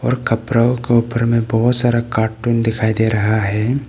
और कपरा का ऊपर में बहुत सारा कार्टून दिखाई दे रहा है।